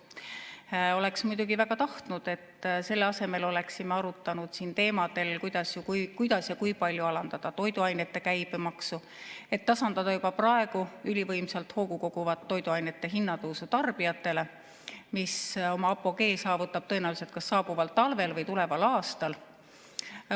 Ma oleksin muidugi väga tahtnud, et selle asemel oleksime arutanud siin teemadel, kuidas ja kui palju alandada toiduainete käibemaksu, et tasandada juba praegu ülivõimsalt hoogu koguvat toiduainete hinnatõusu tarbijatele, mis oma apogee saavutab tõenäoliselt saabuval talvel või tuleval aastal.